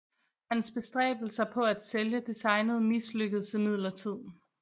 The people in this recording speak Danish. Hans bestræbelser på at sælge designet mislykkedes imidlertid